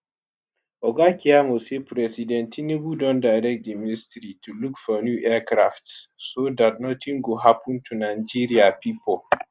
oga keyamo say president tinubu don direct di ministry to look for new aircrafts so dat nothing go happun to nigeria pipo.